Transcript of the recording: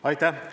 Aitäh!